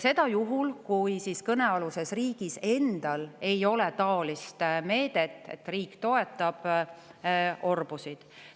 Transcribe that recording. Seda juhul, kui kõnealusel riigil endal ei ole niisugust meedet, et riik toetab orbusid.